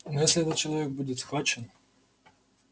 но если этот человек будет схвачен